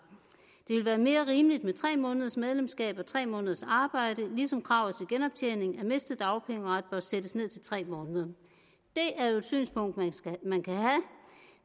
det ville være mere rimeligt med tre måneders medlemskab og tre måneders arbejde ligesom kravet til genoptjening af mistet dagpengeret bør sættes ned til tre måneder det er jo et synspunkt man kan have